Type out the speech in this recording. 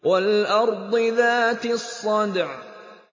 وَالْأَرْضِ ذَاتِ الصَّدْعِ